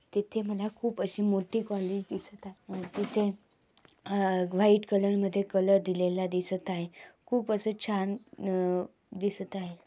तेथे मला खूप अशी मोठी कॉलेज दिसत आहे. तिथ आ व्हाइट कलर मध्ये कलर दिलेला दिसत आहे. खूप असे छान आ दिसत आहे.